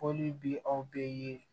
Foli bi aw bɛ ye